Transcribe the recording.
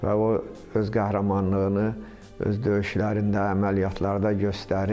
Və o öz qəhrəmanlığını öz döyüşlərində, əməliyyatlarda göstərir.